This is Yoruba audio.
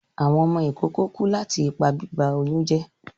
Awọn ọmọ ikoko ku lati ipa biba oyun jẹ